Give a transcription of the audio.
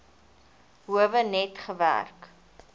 howe net gewerk